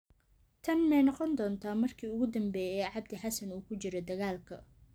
Tani ma noqon doontaa markii ugu dambeysay ee Cabdi Xassan uu ku jiro dagaalka?